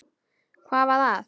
Hvað var að?